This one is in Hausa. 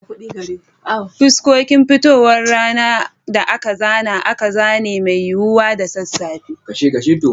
Fuskokin fitowar rana da aka zana akan zane mai yiwuwa da sassafe.